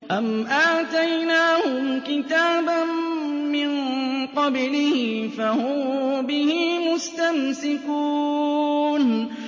أَمْ آتَيْنَاهُمْ كِتَابًا مِّن قَبْلِهِ فَهُم بِهِ مُسْتَمْسِكُونَ